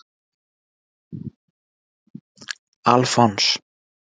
Alfons